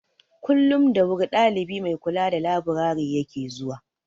Kullum da wuri dalibi mai kula da laburare ya ke zuwa.